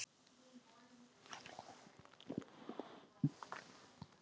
Davíð beið lengi.